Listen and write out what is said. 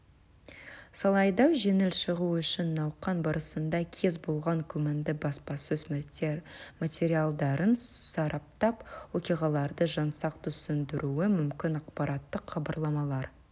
сайлауда жеңіп шығу үшін науқан барысында кез болған күмәнді баспасөз материалдарын сараптап оқиғаларды жаңсақ түсіндіруі мүмкін ақпараттық хабарламалар